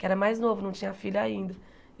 Que era mais novo, não tinha filho ainda.